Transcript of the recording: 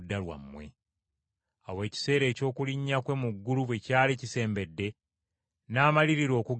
Awo ekiseera eky’okulinnya kwe mu ggulu bwe kyali kisembedde, n’amalirira okugenda e Yerusaalemi.